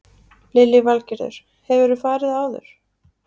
Lillý Valgerður: Hefurðu farið áður?